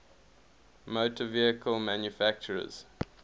motor vehicle manufacturers